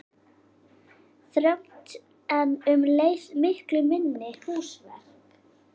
Þröngt en um leið miklu minni húsverk